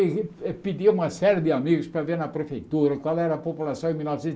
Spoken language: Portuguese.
pedi uma série de amigos para ver na prefeitura qual era a população em mil novecentos